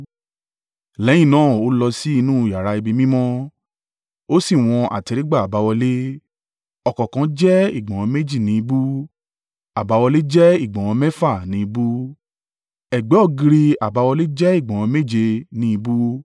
Lẹ́yìn náà ó lọ sí inú yàrá ibi mímọ́, ó sì wọn àtẹ́rígbà àbáwọlé, ọ̀kọ̀ọ̀kan jẹ́ ìgbọ̀nwọ́ méjì ni ìbú. Àbáwọlé jẹ́ ìgbọ̀nwọ́ mẹ́fà ni ìbú, ẹ̀gbẹ́ ògiri àbáwọlé jẹ́ ìgbọ̀nwọ́ méje ni ìbú.